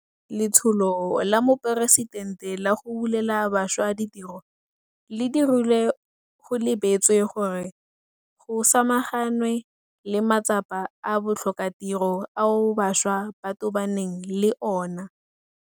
Letsholo la Moporesitente la go Bulela Bašwa Ditiro le dirilwe go lebeletswe gore go samaganwe le matsapa a botlhokatiro ao bašwa ba tobaneng le ona.